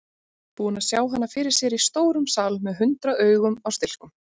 Búinn að sjá hana fyrir sér í stórum sal með hundrað augu á stilkum.